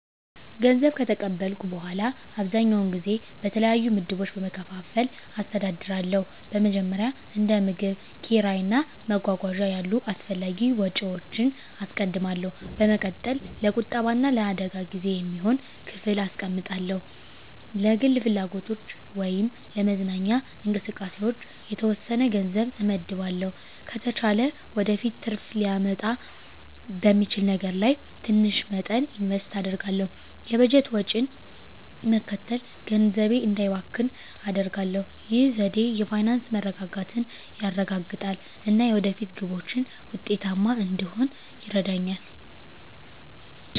ገንዘብ ከተቀበልኩ በኋላ, አብዛኛውን ጊዜ በተለያዩ ምድቦች በመከፋፈል አስተዳድራለሁ. በመጀመሪያ፣ እንደ ምግብ፣ ኪራይ እና መጓጓዣ ያሉ አስፈላጊ ወጪዎችን አስቀድማለሁ። በመቀጠል፣ ለቁጠባ እና ለአደጋ ጊዜ የሚሆን ክፍል አስቀምጣለሁ። ለግል ፍላጎቶች ወይም ለመዝናኛ እንቅስቃሴዎች የተወሰነ ገንዘብ እመድባለሁ። ከተቻለ ወደፊት ትርፍ ሊያመጣ በሚችል ነገር ላይ ትንሽ መጠን ኢንቨስት አደርጋለሁ። የበጀት ወጪን መከተል ገንዘቤ እንዳይባክን አደርጋሁ። ይህ ዘዴ የፋይናንስ መረጋጋትን ያረጋግጣል እና የወደፊት ግቦችን ውጤታማ እንድሆን ይረዳኛል.